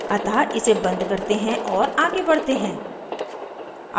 अतः इसे बंद करते हैं और आगे बढ़ते हैं